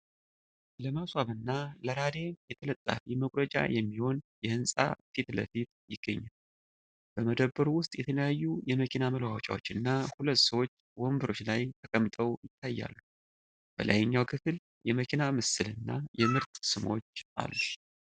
ለማስዋብ እና ለራዲየም ተለጣፊ መቁረጫ የሚሆን የህንጻ ፊትለፊት ይገኛል። በመደብሩ ውስጥ የተለያዩ የመኪና መለዋወጫዎች እና ሁለት ሰዎች ወንበሮች ላይ ተቀምጠው ይታያሉ። በላይኛው ክፍል የመኪና ምስል እና የምርት ስሞች አሉ።